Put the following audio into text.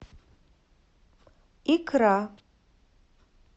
икра